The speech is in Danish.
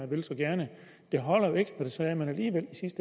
vil så gerne holder jo ikke